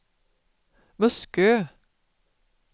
Muskö